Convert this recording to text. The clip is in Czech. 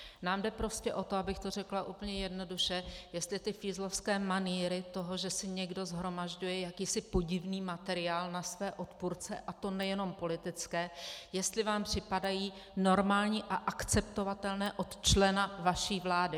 Nám jde prostě o to, abych to řekla úplně jednoduše, jestli ty fízlovské manýry toho, že si někdo shromažďuje jakýsi podivný materiál na své odpůrce, a to nejenom politické, jestli vám připadají normální a akceptovatelné od člena vaší vlády.